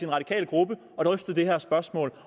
radikale gruppe og drøftet det her spørgsmål